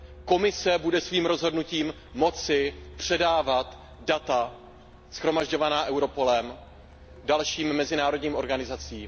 Komise bude svým rozhodnutím moci předávat data shromažďovaná Europolem dalším mezinárodním organizacím.